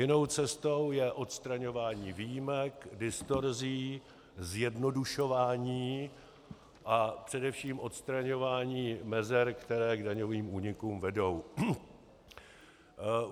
Jinou cestou je odstraňování výjimek, distorzí, zjednodušování a především odstraňování mezer, které k daňovým únikům vedou.